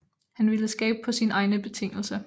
Han ville skabe på sine egne betingelser